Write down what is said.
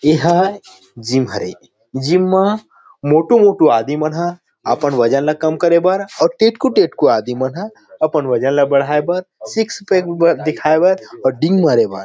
इहा जीम हरे जीम म मोंटू मोंटू आदमी मन ह अपन वजन ला कम करे बर अउ टेटकू टेटकू आदि मन ह अपन वजन ला बढ़ाये बर सिक्स पैक दिखाये बर अऊ डिंग मारे बर।